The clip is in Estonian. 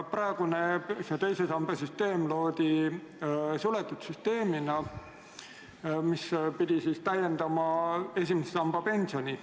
Praegune teise samba süsteem loodi suletud süsteemina, mis pidi täiendama esimese samba pensioni.